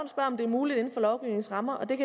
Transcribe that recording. om det er muligt inden for lovgivningens rammer at